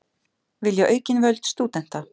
Vilja aukin völd stúdenta